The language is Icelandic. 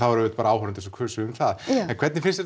voru auðvitað bara áhorfendur sem kusu um það en hvernig finnst